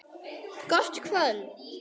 Gott kvöld!